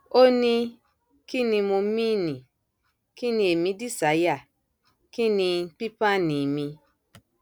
ó ní kín ni mo mìíní kín ní èmi dísáyà kín ní pípáàní mi